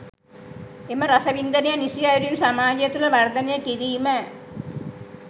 එම රසවින්දනය නිසි අයුරින් සමාජය තුළ වර්ධනය කිරීම